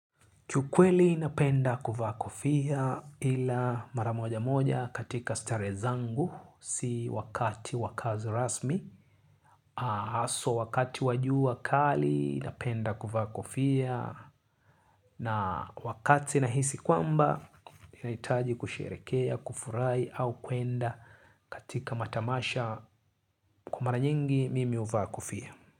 Kiukweli napenda kuvaa kofia ila mara moja moja katika starehe zangu si wakati wa kazi rasmi. Haswa wakati wa jua kali napenda kuvaa kofia na wakati nahisi kwamba nahitaji kusherehekea, kufurahi au kuenda katika matamasha kwa mara nyingi mimi huvaa kofia.